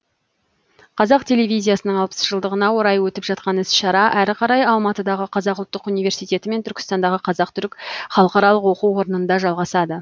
қазақ телевизиясының алпыс жылдығына орай өтіп жатқан іс шара әрі қарай алматыдағы қазақ ұлттық университеті мен түркістандағы қазақ түрік халықаралық оқу орнында жалғасады